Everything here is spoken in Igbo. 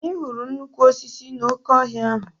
Anyị hụrụ nnukwu osisi n'oke ọhịa ahụ.